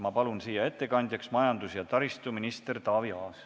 Ma palun ettekandeks kõnetooli majandus- ja taristuminister Taavi Aasa.